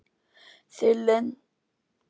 Þau lentu við fuglasöng um leið og byrjaði að skíma.